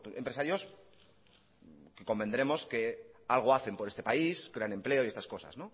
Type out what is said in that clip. empresarios que convendremos que algo hacen por este país crean empleo y estas cosas